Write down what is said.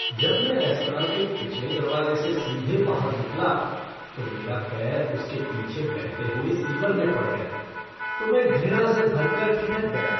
जब मैं रेस्तरां के पिछले दरवाजे से सीधे बाहर निकला तो मेरा पैर उसके पीछे बहते हुए सीवर में पड़ गया तो मैं घृणा से भर कर ठिठक गया।